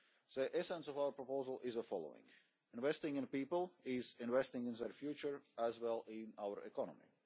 The essence of our proposal is the following investing in people is investing in their future as well as in our economy.